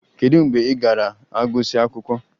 Kedu mgbe ị ga-agụsị akwụkwọ?